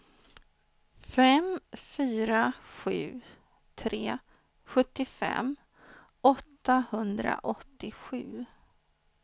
fem fyra sju tre sjuttiofem åttahundraåttiosju